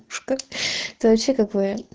ушка да вообще как вариант